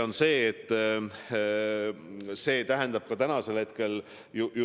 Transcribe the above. On ju